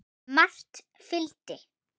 Margt fylgdi.